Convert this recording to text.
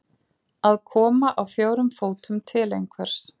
Að koma á fjórum fótum til einhvers